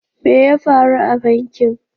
Me ya faru a bankin?